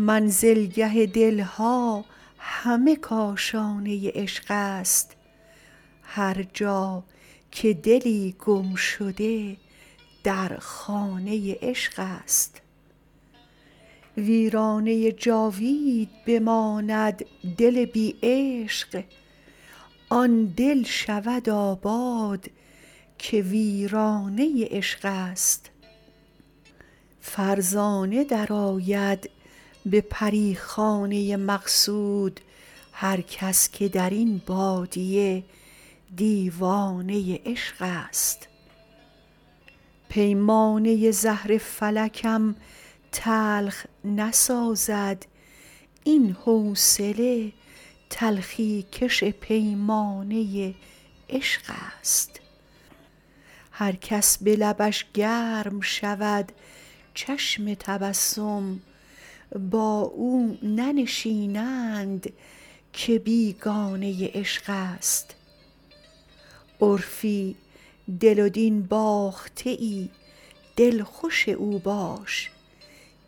منزلگه دل ها همه کاشانه عشق است هرجا که دلی گم شده در خانه عشق است ویرانه جاوید بماند دل بی عشق آن دل شود آباد که ویرانه عشق است فرزانه درآید به پری خانه مقصود هرکس که در این بادیه دیوانه عشق است پیمانه زهر فلکم تلخ نسازد این حوصله تلخی کش پیمانه عشق است هرکس به لبش گرم شود چشم تبسم با او ننشینند که بیگانه عشق است عرفی دل و دین باخته ای دلخوش او باش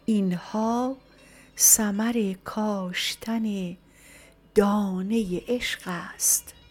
این ها ثمر کاشتن دانه عشق است